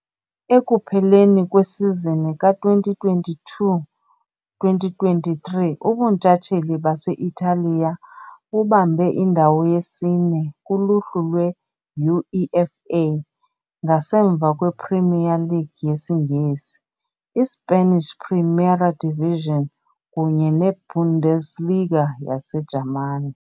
Ekupheleni kwesizini ka -2022-2023, ubuntshatsheli base-Italiya bubambe indawo yesine "kuluhlu lwe" -UEFA, ngasemva kwePremier League yesiNgesi, iSpanish Primera Division kunye neBundesliga yaseJamani .